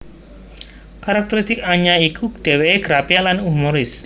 Karakteristik Anya iku dhèwèké grapyak lan humoris